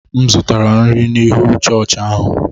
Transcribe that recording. M zụtara nri n’ihu chọọchị ahụ.